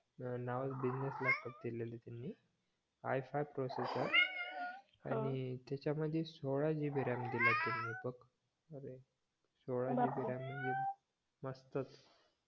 नाव business laptop दिलेला त्यांनी i five processor आणि त्याच्यामधे सोळा GB ram दिला त्यांनी बघ अरे सोळा GB ram म्हणजे मस्तच